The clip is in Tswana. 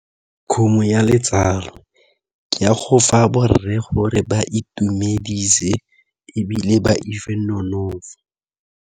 Khumo ya letsalo, ke ya go fa borre gore ba itumedise ebile ba nonofo.